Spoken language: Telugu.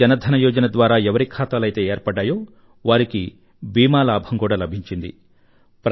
ప్రధానమంత్రి జన ధన యోజన ద్వారా ఎవరి ఖాతాలయితే ఏర్పడ్డాయో వారికి బీమా లాభం కూడా లభించింది